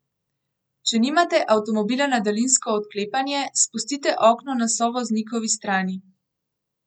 Če nimate avtomobila na daljinsko odklepanje, spustite okno na sovoznikovi strani.